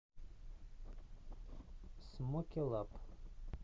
смоке лаб